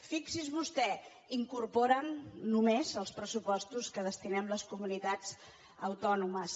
fixis’hi vostè incorporen només els pressupostos que hi destinem les comunitats autònomes